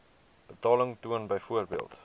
betaling toon byvoorbeeld